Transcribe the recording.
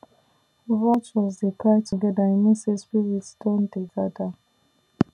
vultures dey cry together e mean say spirits don dey gather